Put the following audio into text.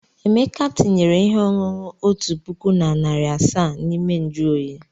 Emeka tinyere ihe ọṅụṅụ otu puku na narị asaa n'ime nju oyi.